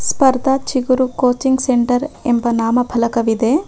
ಸ್ಪರ್ಧಾ ಚಿಗುರು coaching centre ಎಂಬ ನಾಮಫಲಕವಿದೆ.